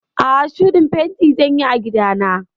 A'a, shuɗin fenti zan yi a gida na.